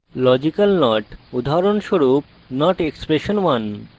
Logical not উদাহরণস্বরূপ ! expression1